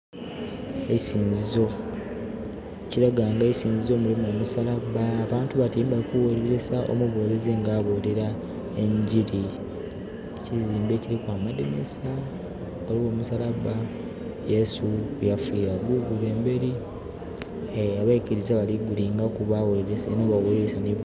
Eisinzizo ekilaga nga isinzizo mulimu omusalaba abantu batyeime bali kughulirisa omubulizi nga abulira enjiri. Ekizimbe kiriku amadhinhisa ghaligho omusalaba Yesu kwe yafiira gugule emberi abeikiriza bali ku gulingaku baghulirisa...eno bwebaghulirisa...